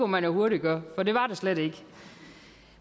man jo hurtigt gøre for det var der slet ikke